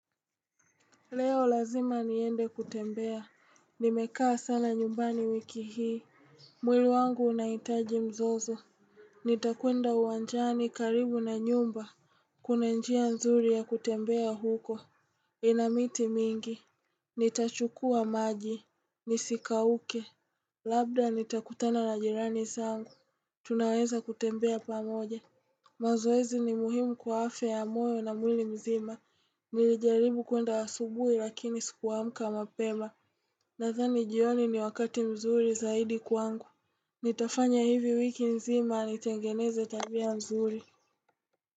Leo lazima niende kutembea, nimekaa sana nyumbani wiki hii, mwili wangu unahitaji mzozo. Nitakwenda uwanjani karibu na nyumba, kuna njia nzuri ya kutembea huko, ina miti mingi. Nitachukua maji, nisikauke, labda nitakutana na jirani zangu, tunaweza kutembea pamoja. Mazoezi ni muhimu kwa afya ya moyo na mwili mzima Nilijaribu kuenda asubui lakini sikuamka mapema Nadhani jioni ni wakati mzuri zaidi kwangu Nitafanya hivi wiki zima nitengeneze tabia nzuri.